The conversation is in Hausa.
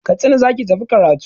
Katsina za ki tafi karatu!